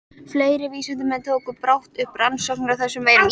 Fleiri vísindamenn tóku brátt upp rannsóknir á þessum veirum.